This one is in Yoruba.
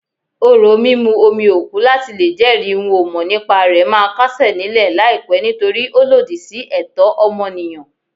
Orò mímú omi òkú láti lè jẹ́rìí n-ò-mọ̀-nípa-rẹ̀ máa kásẹ̀ nílẹ̀ láìpẹ́ nítorí ó lòdì sí ẹ̀tọ́ ọmọnìyàn.